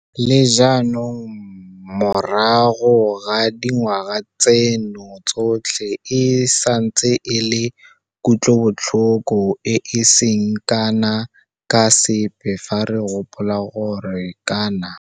Le jaanong morago ga dingwaga tseno tsotlhe e santse e le kutlobotlhoko e e seng kana ka sepe fa re gopola gore kana